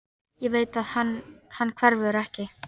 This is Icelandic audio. Ég veit að hann hverfur ekki.